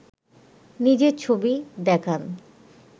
নিজের ছবি দেখান